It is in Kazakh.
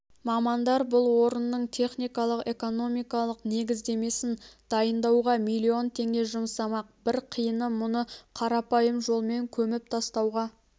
мамандар бұл орынның техникалық-экономикалық негіздемесін дайындауға миллион теңге жұмсамақ бір қиыны мұны қарапайым жолмен көміп тастауға